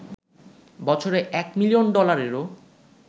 বছরে এক মিলিয়ন ডলারেরও